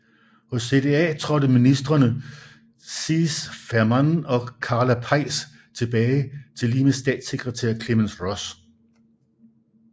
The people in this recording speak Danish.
Hos CDA trådte ministreme Cees Veerman og Karla Peijs tilbage tillige med statssekretær Clemence Ross